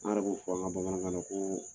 An yɛrɛ fɔ an kan bamanankan ko